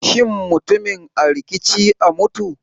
Shin mutumin a rikici a mutu?